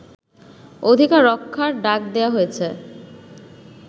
অধিকার রক্ষার ডাক দেয়া হয়েছে